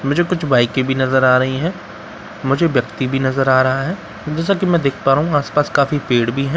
मुझे कुछ बाइके भी नजर आ रही हैं मुझे व्‍यक्ति भी नजर आ रहा है जैसा कि मैं देख पा रहा हूँ आस-पास काफी पेड़ भी है।